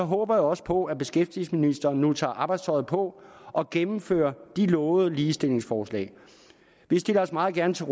håber jeg også på at beskæftigelsesministeren nu tager arbejdstøjet på og gennemfører de lovede ligestillingsforslag vi stiller os meget gerne til